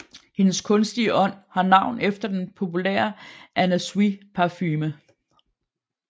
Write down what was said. Hendes kunstige ånd har navn efter den populære Anna Sui parfume